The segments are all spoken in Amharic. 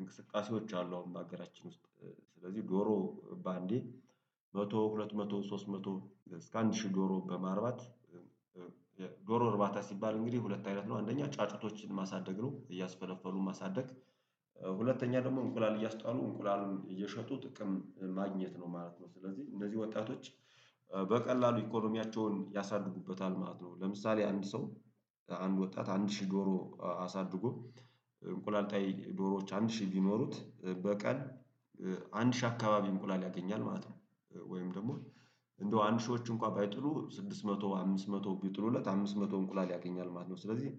እንቅስቃሴዎች አሉ። አሁን በሀገራችን ውስጥ። ስለዚህ ዶሮ በአንዴ መቶ ሁለት መቶ ሶስት መቶ እስከ አንድ ሺህ ዶሮ በማርባት ዶሮ እርባታ ሲባል እንግዲህ ሁለት አይነት ነው። አንደኛ ጫጩቶችን ማሳደግ ነው እያስፈለፈሉ ማሳደግ። ሁለተኛ ደግሞ እንቁላል እያስጣሉ እንቁላሉን እየሸጡ ጥቅም ማግኘት ነው ማለት ነው። ስለዚህ እንነዚህ ወጣቶች በቀላሉ ኢኮኖሚያቸውን ያሳድጉበታል ማለት ነው። ለምሳሌ አንድ ሰው አንድ ወጣት አንድ ሺህ ዶሮ አሳድጎ እንቁላል ጣይ ዶሮዎች አንድ ሺህ ቢኖሩት በቀን አንድ ሺህ አካባቢ እንቁላል ያገኛል ማለት ነው። ወይም ደግሞ እንደው አንድ ሺዎች እንኳን ባይጥሉ ስድስት መቶ አምስት መቶ ቢጥሉለት አምስት መቶ እንቁላል ያገኛል ማለት ነው። ስለዚህ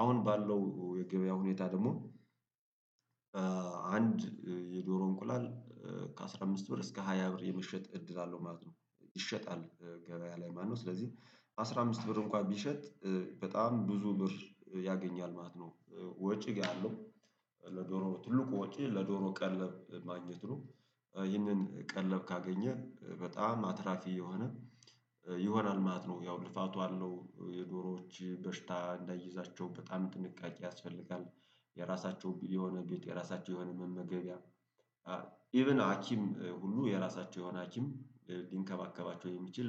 አሁን ባለው የገበያ ሁኔታ ደግሞ አንድ የዶሮ እንቁላል ከአሥራ አምስት ብር እስከ ሃያ ብር የመሸጥ እድል አለው ማለት ነው። ይሸጣል ገበያ ላይ ማለትነው። ስለዚህ አስራ አምስት ብር እንኳን ቢሸጥ በጣም ብዙ ብር ያገኛል ማለት ነው። ወጪ ጋር አለው። ለዶሮ ትልቁ ወጪ ለዶሮ ቀለብ ማግኘት ነው። ይህንን ቀለብ ካገኘ በጣም አትራፊ የሆነ ይሆናል ማለት ነው። ያው ልፋቱ አለው የዶሮዎች በሽታ እንዳይዛቸው በጣም ጥንቃቄ ያስፈልጋል። የራሳቸው የሆነ ቤት የራሳቸው የሆነ መመገቢያ ሀኪም ሁሉ የራሳቸው የሆነ ሀኪም ሊንከባከባቸው የሚችል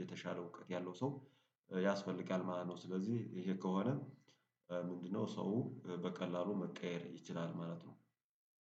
የተሻለ እውቀት ያለው ሰው ያስፈልጋል ማለት ነው። ስለዚህ ይሄ ከሆነ ምንድነው? ሰው በቀላሉ መቀየር ይችላል ማለት ነው